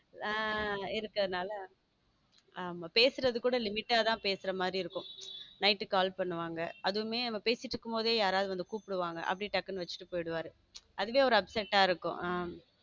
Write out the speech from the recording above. இருக்கிறதுனால ஆமா பேசுறது கூட limite தான் பேசுற மாதிரி இருக்கும் night call பண்ணுவாங்க அதுவுமே நம்ம பேசிகிட்டு இருக்கும்போது யாராவது வந்து கூப்பிடுவாங்க அப்படி டக்குனு வச்சுட்டு போயிடுவாரு அதுவே ஒரு upset ஆ இருக்கும்.